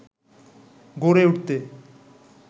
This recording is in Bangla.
গড়ে উঠতে